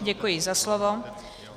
Děkuji za slovo.